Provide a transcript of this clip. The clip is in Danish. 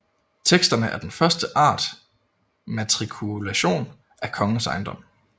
Teksterne er den første art matrikulation af kongens ejendom